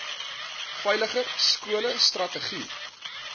veiliger skole strategie